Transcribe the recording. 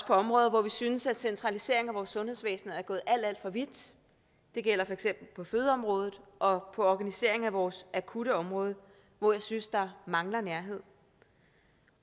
på områder hvor vi synes at centraliseringen af vores sundhedsvæsen er gået alt alt for vidt det gælder for eksempel på fødeområdet og på organiseringen af vores akutte område hvor jeg synes der mangler nærhed